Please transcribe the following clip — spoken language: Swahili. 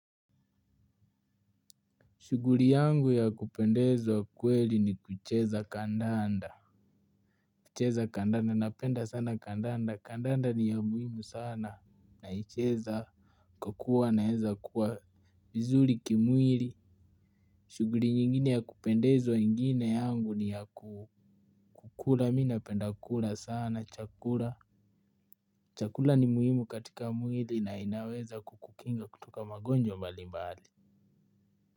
Shuguri yangu ya kupendeza kweli ni kucheza kandanda. Kucheza kandanda napenda sana kandanda kandanda ni ya muhimu sana naicheza. Kukua naeza kuwa bizuri kimwiri. Shuguri nyingine ya kupendeza ingine yangu ni ya ku kukula mi napenda kula sana chakula. Chakula ni muhimu katika mwili na inaweza kukukinga kutoka magonjwa mbali mbali.